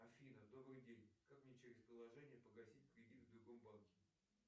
афина добрый день как мне через приложение погасить кредит в другом банке